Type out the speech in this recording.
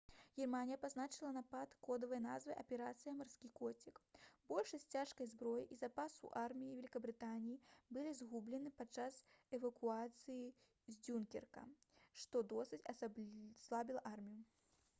германія пазначыла напад кодавай назвай «аперацыя «марскі коцік»». большасць цяжкай зброі і запасаў арміі вялікабрытаніі былі згублены падчас эвакуацыі з дзюнкерка што досыць аслабіла армію